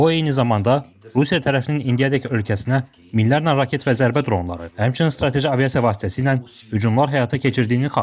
O eyni zamanda Rusiya tərəfinin indiyədək ölkəsinə minlərlə raket və zərbə dronları, həmçinin strateji aviasiya vasitəsilə hücumlar həyata keçirdiyini xatırladıb.